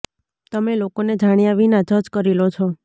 તમે લોકોને જાણ્યાં વિના જજ કરી લો છો